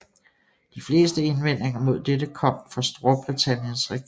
De fleste indvendinger mod dette kom fra Storbritanniens regering